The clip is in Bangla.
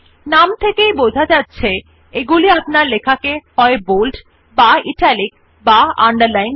নাম থেকেই বোঝা যাচ্ছে এগুলি আপনার লেখাকে হয় বোল্ড বা ইটালিক বা আন্ডারলাইন করা হবে